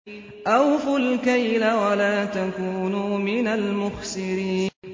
۞ أَوْفُوا الْكَيْلَ وَلَا تَكُونُوا مِنَ الْمُخْسِرِينَ